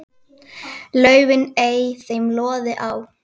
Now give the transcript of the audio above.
laufin ei þeim loði á.